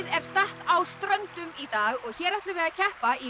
er statt á Ströndum í dag og hér ætlum við að keppa í